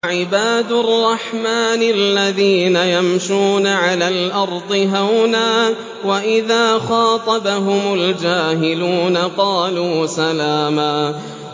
وَعِبَادُ الرَّحْمَٰنِ الَّذِينَ يَمْشُونَ عَلَى الْأَرْضِ هَوْنًا وَإِذَا خَاطَبَهُمُ الْجَاهِلُونَ قَالُوا سَلَامًا